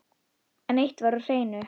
En eitt var á hreinu.